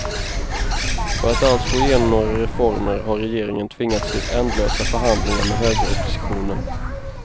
För att alls få igenom några reformer har regeringen tvingats till ändlösa förhandlingar med högeroppositionen.